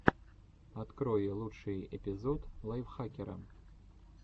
открой лучший эпизод лайфхакера